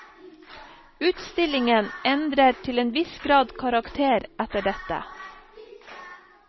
Utstillingen endrer til en viss grad karakter etter dette.